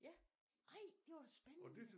Ja ej det var spændende